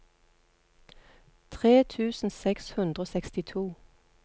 tre tusen seks hundre og sekstito